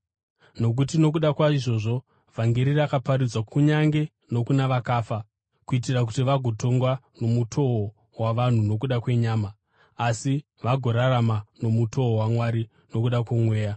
Nokuti nokuda kwaizvozvi vhangeri rakaparidzwa kunyange nokuna vakafa, kuitira kuti vagotongwa nomutoo wavanhu nokuda kwenyama, asi vagorarama nomutoo waMwari nokuda kwomweya.